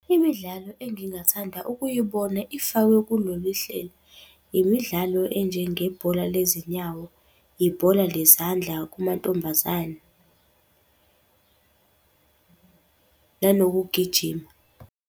Imidlalo engingathanda ukuyibona ifakwe kulolu hlelo, imidlalo enjengebhola lezinyawo, ibhola lezandla kumantombazane nanokugijima.